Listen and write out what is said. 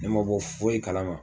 Ne ma bɔ foyi kalama